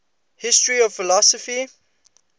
history of philosophy